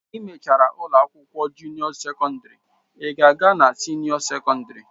I mechara ụlọ akwụkwọ junio sekọndrị, ị ga-aga na sinio sekọndrị